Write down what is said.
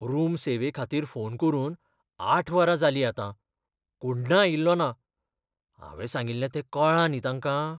Room सेवेखातीर phone करून आठ वरां जालीं आतां, कोण्ण आयिल्लो ना. हावें सांगिल्लें तें कळ्ळां न्ही तांकां?